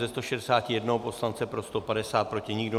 Ze 161 poslanců pro 150, proti nikdo.